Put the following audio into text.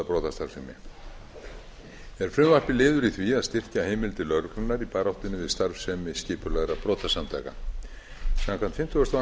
brotastarfsemi er frumvarpið liður í því að styrkja heimildir lögreglunnar í baráttunni við starfsemi skipulagðra brotasamtaka samkvæmt fimmtugustu og